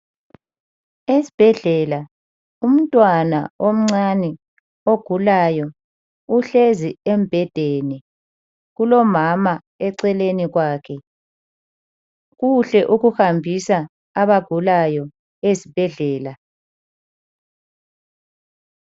Esibhedlela umntwana omncane ogulayo uhlezi embhedeni. Kulomama eceleni kwakhe. Kuhle ukuhambisa abagulayo esibhedlela.